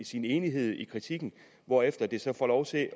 sin enighed i kritikken hvorefter det så får lov til at